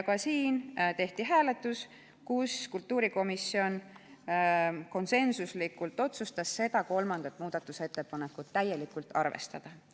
Ka siin tehti hääletus ja kultuurikomisjon otsustas konsensuslikult kolmandat muudatusettepanekut täielikult arvestada.